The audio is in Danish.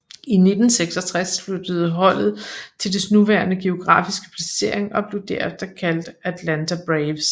I 1966 flyttede holdet til dets nuværende geografiske placering og blev derefter kaldt Atlanta Braves